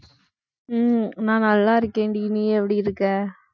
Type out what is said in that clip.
உம் நான் நல்லா இருக்கேன்டி நீ எப்படி இருக்க